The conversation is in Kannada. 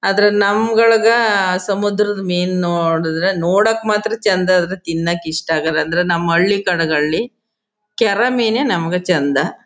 ಆದ್ರೆ ನಮ್ಗಳ್ಗ ಸಮುದ್ರದ್ ಮೀನ್ ನೋಡುದ್ರೆ ನೋಡಕ್ ಮಾತ್ರ ಚಂದ ಇದು ತಿನ್ನಾಕ್ ಇಷ್ಟ ಅಗಲ ಅಂದ್ರೆ ನಮ್ ಹಳ್ಳಿ ಕಡೆ ಗಳಲ್ಲಿ ಕೆರೆ ಮೀನೇ ನಮಗೆ ಚಂದ.--